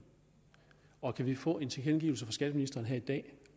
og kan vi få en tilkendegivelse fra skatteministeren her i dag